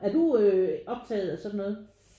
Er du optaget af sådan noget?